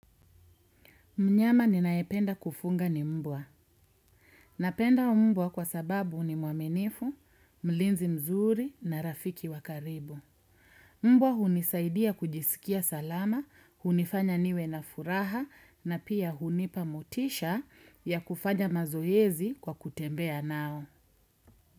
Mnyama ninayependa kufuga ni mbwa. Napenda mbwa kwa sababu ni mwaminifu, mlinzi mzuri na rafiki wa karibu. Mbwa hunisaidia kujisikia salama, hunifanya niwe na furaha na pia hunipa motisha ya kufanya mazoezi kwa kutembea nao.